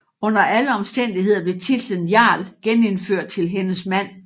Under alle omstændigheder blev titlen jarl genindført til hendes mand